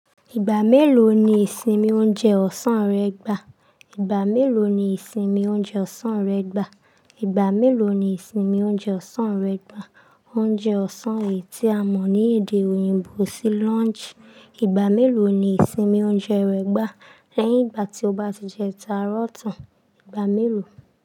Ìgbà mélòó ni ìsinmi oúnjẹ ọ̀sán rẹ gbà? Ìgbà mélòó ni ìsinmi oúnjẹ ọ̀sán rẹ gbà? Ìgbà mélòó ni ìsinmi oúnjẹ ọ̀sán rẹ gbà? Oúnjẹ ọ̀sán èyí tí a mọ̀ ní èdè òyìnbó sí lunch. Ìgbà mélòó ni ìsinmi oúnjẹ rẹ gbà lẹ́yìn ìgbà tí o bá ti jẹ táúrọ̀tàn? Ìgbà mélòó.